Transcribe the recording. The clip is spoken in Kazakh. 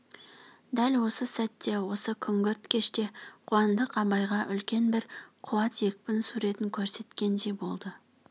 дәл осы сәтте осы күңгірт кеште қуандық абайға үлкен бір қуат екпін суретін көрсеткендей болды